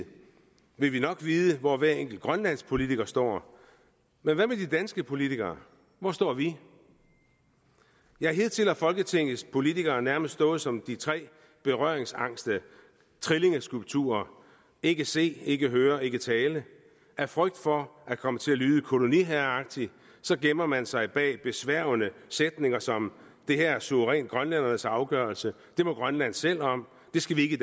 vil vi nok vide hvor hver enkelt grønlandsk politiker står men hvad med de danske politikere hvor står vi ja hidtil har folketingets politikere nærmest stået som de tre berøringsangste trillingeskulpturer ikke se ikke høre ikke tale af frygt for at komme til at lyde koloniherreagtig gemmer man sig bag besværgende sætninger som det her er suverænt grønlændernes afgørelse det må grønland selv om det skal vi ikke